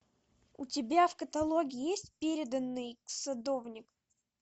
у тебя в каталоге есть переданный садовник